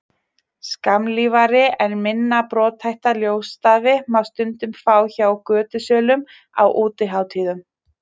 skammlífari en minna brothætta ljósstafi má stundum fá hjá götusölum á útihátíðum